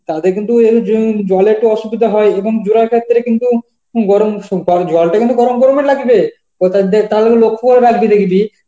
তাদের কিন্তু উম জুম~ জল একটু অসুবিধা হয়ই এবং জোরা কাটতে হলে কিন্তু গরম শু অ্যাঁ জলটা গরম বেরোবে লাকি রে? তালেও লক্ষ্যও রাখবি দেখবি